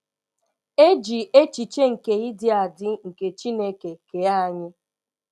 E ji echiche nke ịdị adị nke Chineke kee anyị